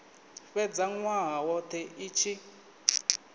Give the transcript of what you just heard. fhedza nwaha wothe i tshi